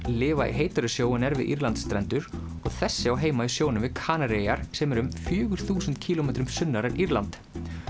lifa í heitari sjó en er við Írlands strendur og þessi á heima í sjónum við Kanarí eyjar sem er um fjögur þúsund kílómetrum sunnar en Írland